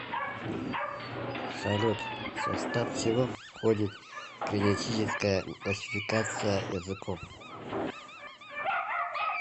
салют в состав чего входит генетическая классификация языков